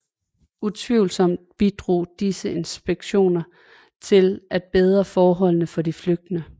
Utvivlsomt bidrog disse inspektioner til at bedre forholdene for de flygtende